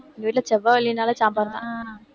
எங்க வீட்டுல சாம்பார்தான்